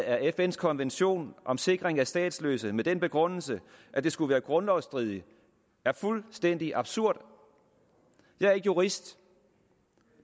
af fns konvention om sikring af statsløse med den begrundelse at det skulle være grundlovsstridigt er fuldstændig absurd jeg er ikke jurist